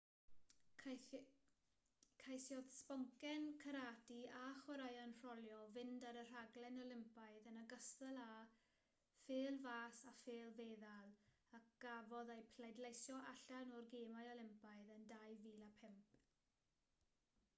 ceisiodd sboncen carate a chwaraeon rholio fynd ar y rhaglen olympaidd yn ogystal â phêl-fas a phêl-feddal a gafodd eu pleidleisio allan o'r gemau olympaidd yn 2005